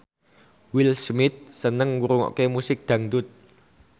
Will Smith seneng ngrungokne musik dangdut